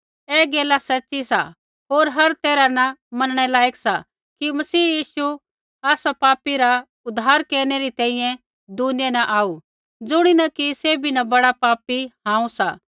ऐ गैल सच़ी सा होर हर तैरहा न मनणै लायक सा कि मसीह यीशु आसा पापी रा उद्धार केरनै री तैंईंयैं दुनिया न आऊ ज़ुणीन कि सैभी न बड़ा पापी हांऊँ सा